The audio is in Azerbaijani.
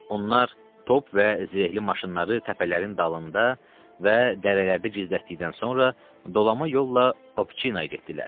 Onlar top və zirehli maşınları təpələrin dalında və dərələrdə gizlətdikdən sonra dolama yolla Obçinaya getdilər.